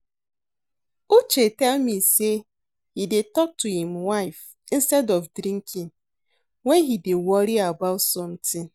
Uche tell me say he dey talk to im wife instead of drinking wen he dey worry about something